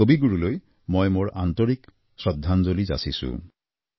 কবিগুৰুলৈ মই মোৰ আন্তৰিক শ্ৰদ্ধাঞ্জলি যাচিছোঁ